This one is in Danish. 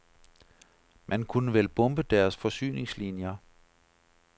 Man kunne vel bombe deres forsyningslinier.